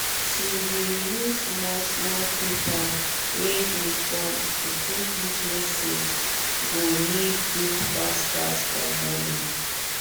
she dey use small small paper wey dey gum to put which message go need do fast fast for morning